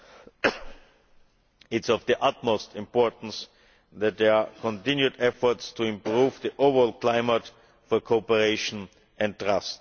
It is of the utmost importance that there are continued efforts to improve the overall climate for cooperation and trust.